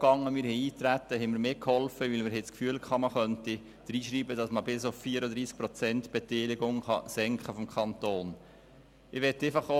Wir haben beim Eintreten mitgeholfen, weil wir das Gefühl hatten, man könnte ins Gesetz schreiben, dass man die Beteiligung des Kantons bis auf 34 Prozent senken kann.